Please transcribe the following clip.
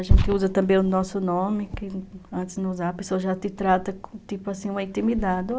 A gente usa também o nosso nome, que antes de não usar, a pessoa já te trata, tipo assim, uma intimidade.